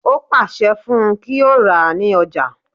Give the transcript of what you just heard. Ó pàṣẹ fún un kí ó rà ní Ọjà